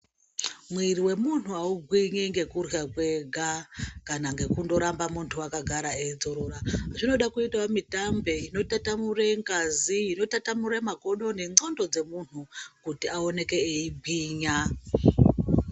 Mwiri wemunthu augwinyi nekurya kwega kana ngekundoramba munthu akagara eidzorora zvinoda kuitao mitambe inotatamure ngazi inotaramure makodo nendxondo dzemunthu kuti aoneke eigwinya.